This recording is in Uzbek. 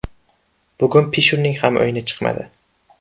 Bugun Pishurning ham o‘yini chiqmadi.